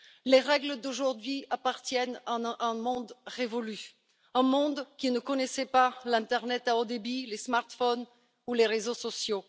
Les règles d'aujourd'hui appartiennent à un monde révolu, un monde qui ne connaissait pas l'internet à haut débit, les smartphones ou les réseaux sociaux.